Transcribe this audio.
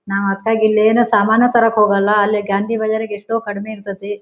ನಾವು ಅದ್ಕ್ಕಾಗಿ ಇಲ್ಲಿ ಏನು ಸಾಮಾನು ತರೋಕ್ಕೆ ಹೋಗಲ್ಲ ಅಲ್ಲಿ ಗಾಂಧಿ ಬಜಾರ್ ಅಗ್ ಎಷ್ಟೋ ಕಡಿಮೆ ಇರ್ತ್ತತ್ತಿ.